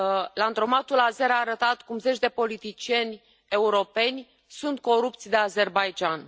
Landromatul azer a arătat cum zeci de politicieni europeni sunt corupți de Azerbaidjan.